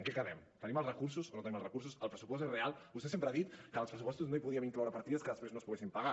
en què quedem tenim els recursos o no tenim els recursos el pressupost és real vostè sempre ha dit que als pressupostos no hi podíem incloure partides que després no es poguessin pagar